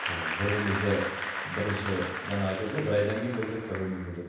і бір бірімізді бірінші жаңа айтып отыр ғой бір айдан кейін білдік бір бірімізді деп